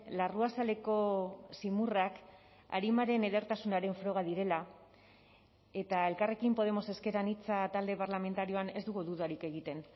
larruazaleko zimurrak arimaren edertasunaren froga direla eta elkarrekin podemos ezker anitza talde parlamentarioan ez dugu dudarik egiten